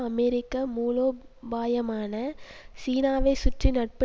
அமெரிக்க மூலோபாயமான சீனாவை சுற்றி நட்பு